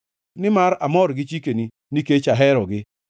nimar amor gi chikeni nikech aherogi.